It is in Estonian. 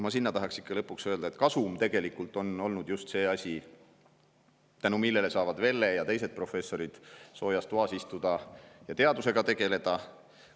Ma tahaks ikka lõpuks öelda, et kasum on olnud just see asi, tänu millele saavad Velle ja teised professorid soojas toas istuda ja teadusega tegeleda.